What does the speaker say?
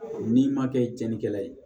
N'i ma kɛ cɛnikɛla ye